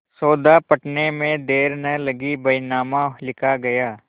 सौदा पटने में देर न लगी बैनामा लिखा गया